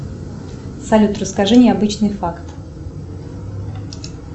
салют расскажи необычный факт